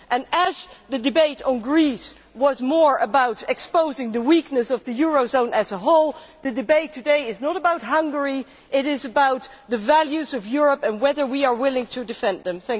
Just as the debate on Greece was more about exposing the weakness of the eurozone as a whole, the debate today is not about Hungary it is about the values of Europe, and whether we are willing to defend them.